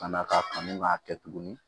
Ka na ka kanu k'a kɛ tuguni